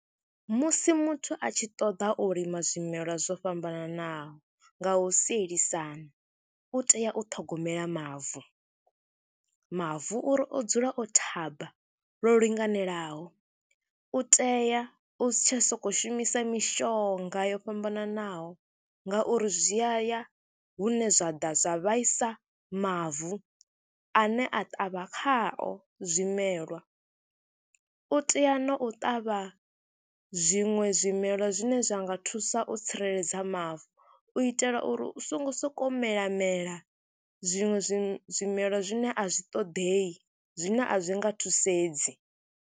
Musi muthu a tshi ṱoḓa u lima zwimelwa zwo fhambananaho nga u sielisana u tea u ṱhogomela mavu, mavu uri o dzula o thaba lwo linganelaho, u tea u si tsha sokou shumisa mishonga yo fhambananaho ngauri zwi a ya hune zwa ḓa zwa vhaisa mavu ane a ṱavha khao zwimelwa. U tea na u ṱavha zwiṅwe zwimelwa zwine zwa nga thusa u tsireledza mavu, u itela uri u songo sokou mela mela, zwiṅwe zwi zwimelwa zwine a zwi ṱoḓei zwine a zwi nga thusedzi.